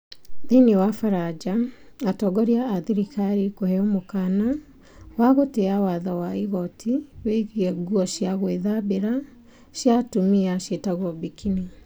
Thiinii wa baranja, atongoria a thirikari kũheo mũkaana wa gũtĩa watho wa igoti wĩgiĩ nguo cia gũthambĩra cia atumia ciĩtagwo burkini.